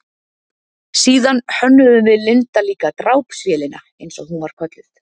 Síðan hönnuðum við Linda líka drápsvélina, eins og hún var kölluð.